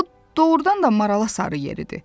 O doğrudan da marala sarı yeridi.